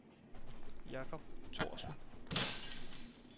Jacob Thorsen